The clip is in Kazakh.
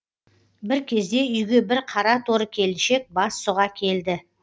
бір кезде үйге бір қара торы келіншек бас сұға келді